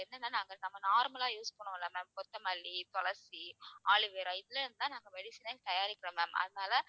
என்னன்னா நாங்க நம்ம normal லா use பண்ணுவோம்ல ma'am கொத்தமல்லி, துளசி aloe vera இதுல இருந்து தான் நாங்க medicine ஏ தயாரிக்கிறோம் ma'am அதனால